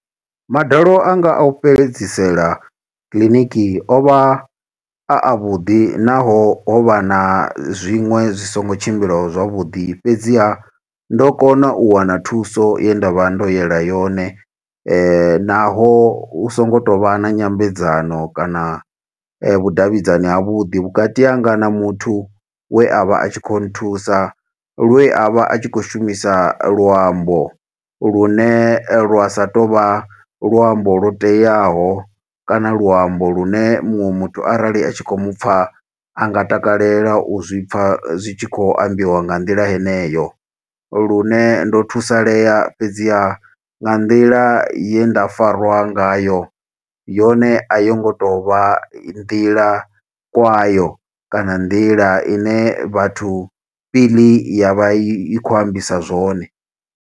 Madalo anga a u fhedzisela kiḽiniki ovha a avhuḓi naho, ho vha na zwiṅwe zwi songo tshimbila zwavhuḓi. Fhedziha, ndo kona u wana thuso ye nda vha ndo yela yone naho, hu songo tou vha na nyambedzano kana vhudavhidzani havhuḓi vhukati hanga na muthu we avha atshi khou nthusa. Lwe a vha a tshi khou shumisa luambo, lune lwa sa tou vha luambo lwo teaho, kana luambo lu ne muṅwe muthu arali a tshi khou mu pfa anga takalela u zwi pfa, zwi tshi khou ambiwa nga nḓila heneyo. Lune ndo thusalea, fhedziha nga nḓila ye nda farwa ngayo, yone a yo ngo to vha nḓila kwayo, kana nḓila ine Batho Pele ya vha i khou ambisa zwone.